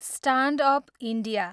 stand up India